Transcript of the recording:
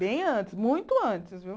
Bem antes, muito antes, viu?